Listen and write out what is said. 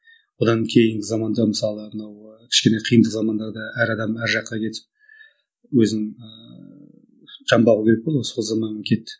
одан кейінгі заманда мысалы мынау кішкене қиын замандарда да әр адам әр жаққа кетіп өзін ііі жан бағу керек болды ғой сол заман кетті